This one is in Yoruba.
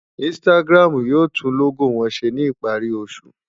Instagram yóò tún lógò wọn ṣe ní ìparí oṣù.